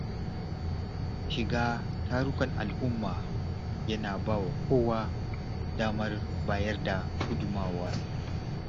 Shiga tarukan al’umma yana ba kowa damar bayar da gudunmawa.